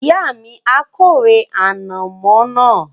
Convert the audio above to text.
Ìyá mi a kórè ànàmọ́ náà